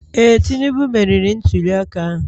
Ee, Tinubu meriri ntuliaka ahụ